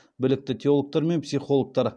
білікті теологтар мен психологтар